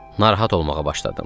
Narahat olmağa başladım.